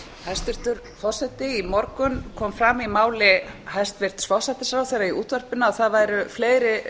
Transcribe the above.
hæstvirtur forseti í morgun kom fram í máli hæstvirts forsætisráðherra í útvarpinu að það væru fleiri